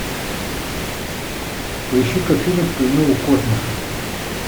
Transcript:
поищи ка фильм в плену у космоса